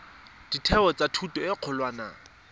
ditheo tsa thuto e kgolwane